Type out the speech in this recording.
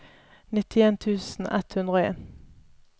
nittien tusen ett hundre og en